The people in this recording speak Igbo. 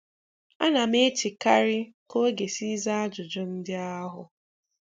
Ana m echekarị ka ọ ga-esi zaa ajụjụ ndị ahụ.